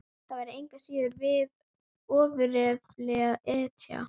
Það væri engu að síður við ofurefli að etja.